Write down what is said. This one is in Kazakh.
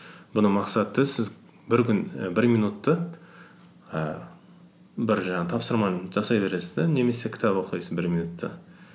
бұны мақсаты сіз бір күн і бір минутты ііі бір жаңағы тапсырманы жасай бересіз де немесе кітап оқисыз бір минутта